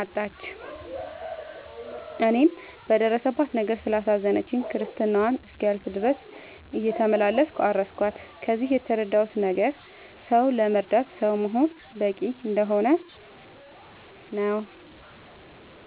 አጣች። እኔም በደረሰባት ነገር ስላሳዘነችኝ ክርስትናዋ እስኪያልፍ ድረስ እየተመላለስኩ አረስኳት። ከዚህ የተረዳሁት ነገር ሰው ለመርዳት ሰው መሆን በቂ እንደሆነ ነው።